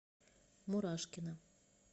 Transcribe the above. мурашкина